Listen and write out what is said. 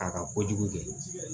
A ka kojugu kɛ